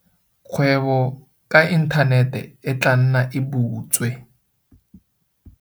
Kgwebo ka inthanete e tla nna e butswe.